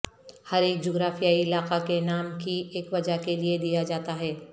ہر ایک جغرافیائی علاقہ کے نام کی ایک وجہ کے لئے دیا جاتا ہے